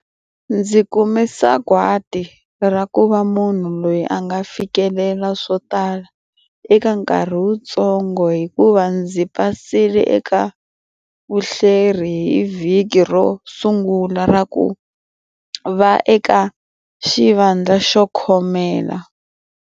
Ndzi kume sagwati ra ku va munhu loyi a nga fikelela swo tala eka nkarhi wutsongo hikuva ndzi pasile eka vuhleri hi vhiki ro sungula ra ku va eka xivandla xo khomela.